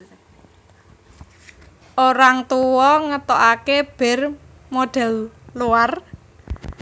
Orang Tua ngetoake bir model luar